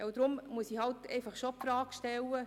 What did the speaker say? Deshalb muss ich schon die Frage stellen: